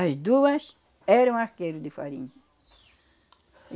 As duas eram arqueiros de farinha.